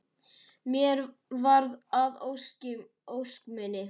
Mér varð að ósk minni.